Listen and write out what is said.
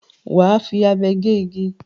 Wà á fi abe gé igi.